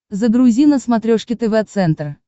загрузи на смотрешке тв центр